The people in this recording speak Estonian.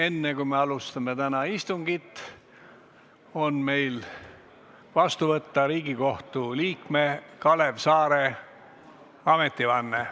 Enne kui me alustame täna istungit, on meil ära kuulata Riigikohtu liikme Kalev Saare ametivanne.